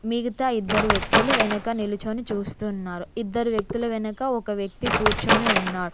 మిగతా ఇద్దరు వ్యక్తులు వెనక నిలుచొని చూస్తున్నారు ఇద్దరు వ్యక్తుల వెనక ఒక వ్యక్తి కూర్చొని ఉన్నా--